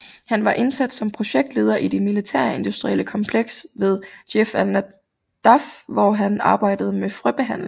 Han var ansat som projektleder i det militærindustrielle kompleks ved Djerf al Nadaf hvor han arbejdede med frøbehandling